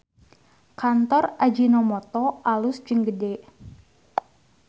Kantor Ajinomoto alus jeung gede